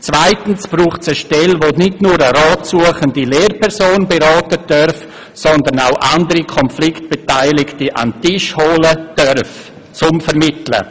Zweitens braucht es eine Stelle, die nicht nur eine Rat suchende Lehrperson beraten, sondern auch andere am Konflikt Beteiligte an den Tisch holen darf, um zu vermitteln.